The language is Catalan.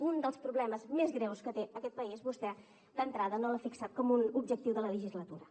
un dels problemes més greus que té aquest país vostè d’entrada no l’ha fixat com un objectiu de la legislatura